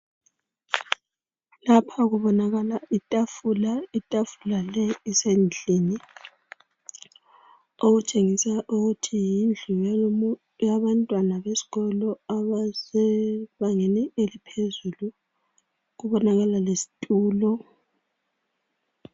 Lapha kubonakala itafula, itafula le isendlini okutshengisa ukuthi yindlu yabantwana besikolo abasebangeni eliphezulu kubonakala lesitulo.